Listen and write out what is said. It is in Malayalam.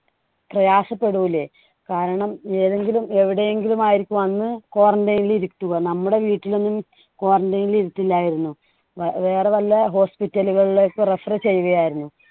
പ്രയാസപ്പെടൂലെ. കാരണം ഏതെങ്കിലും എവിടെയെങ്കിലും ആയിരിക്കും അന്ന് quarantine ൽ ഇരുത്തുക. നമ്മുടെ വീട്ടിൽ ഒന്നും quarantine നിൽ ഇരുത്തില്ലായിരുന്നു. വേറെ വല്ല hospital ലുകളിലേക്ക് refer ചെയ്യുകയായിരുന്നു.